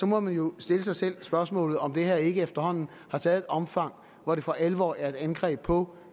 må man jo stille sig selv det spørgsmål om det her ikke efterhånden har taget et omfang hvor det for alvor er et angreb på